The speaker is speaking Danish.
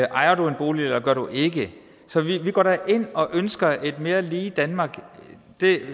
ejer du en bolig eller gør du ikke så vi går da ind og ønsker et mere lige danmark